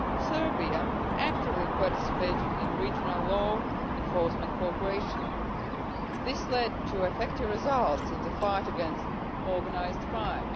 Serbia actively participated in regional law enforcement cooperation. This led to effective results in the fight against organised crime.